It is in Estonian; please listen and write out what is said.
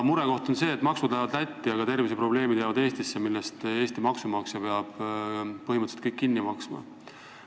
Murekoht on see, et maksud lähevad Lätti, aga terviseprobleemid jäävad Eestisse, Eesti maksumaksja peab põhimõtteliselt kõik need kinni maksma.